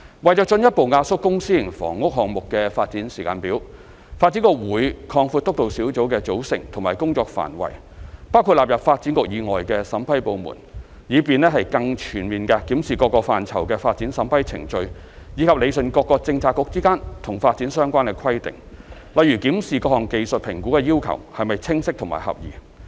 為進一步壓縮公、私營房屋項目的發展時間表，發展局會擴闊督導小組的組成和工作範圍，包括納入發展局以外的審批部門，以便更全面地檢視各個範疇的發展審批程序；以及理順各個政策局之間與發展相關的規定，例如檢視各項技術評估的要求是否清晰和合宜。